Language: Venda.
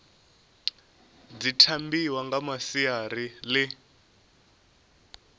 dzi tambiwa nga masiari ḽi